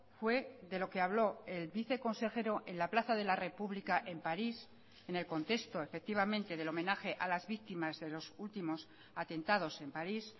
fue de lo que habló el viceconsejero en la plaza de la republica en parís en el contexto efectivamente del homenaje a las víctimas de los últimos atentados en parís